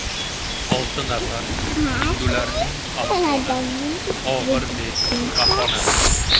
Olti nafar hindularning ahvoli og‘ir deb baholandi.